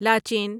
لاچین